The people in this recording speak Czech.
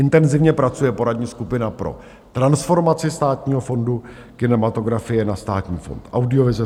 Intenzivně pracuje poradní skupina pro transformaci Státního fondu kinematografie na Státní fond audiovize.